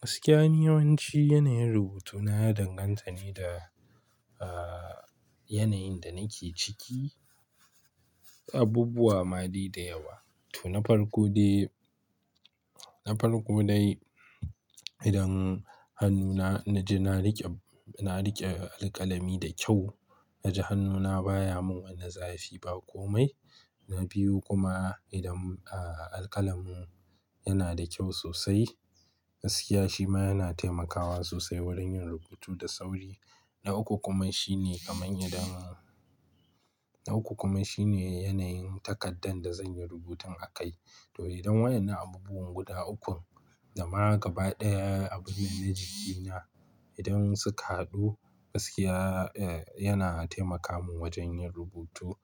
Gaskiya, yawanci yanayin rubutu na ya danganta ne da, ah, yanayin da nake ciki. Abubuwa ma dai da yawa. To na farko dai, na farko dai idan hannuna na ji na riƙe, na riƙe alƙalami da kyau, na ji hannuna baya mun wani zafi ba komai. Na biyu kuma idan, ah, alƙalamin yana da kyau sosai. Gaskiya shi ma yana taimakawa sosai wurin yin rubutu da sauri. Na uku kuma shine kamar idan-- na uku kuma shine yanayin takardar da zan yi rubutun a kai. To idan waɗannan abubuwan guda ukun da ma gaba ɗaya abin da na ji ki na idan suka haɗu, gaskiya, eh, yana taimaka mun wajen yin rubutu.